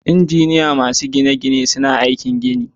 Injiniyoyi masu gine-gine suna aikin gini.